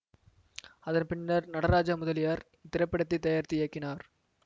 அதன்பின்னர் நடராஜா முதலியார் இத்திரைப்படத்தை தயாரித்து இயக்கினார்